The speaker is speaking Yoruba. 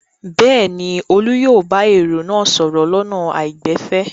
Bẹ́ẹ̀ ni, Olú yóò bá èrò náà sọ̀rọ̀ lọ́nà àìgbẹ̀fẹ̀.